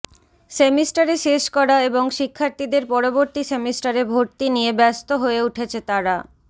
semester শেষ করা এবং শিক্ষার্থীদের পরবর্তী সেমিস্টারে ভর্তি নিয়ে ব্যস্ত হয়ে উঠেছে তারা